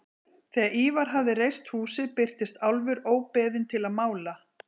Þegar Ívar hafði reist húsið birtist Álfur óbeðinn til að mála.